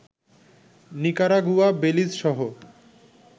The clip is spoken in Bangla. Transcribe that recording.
নিকারাগুয়া, বেলিজ সহ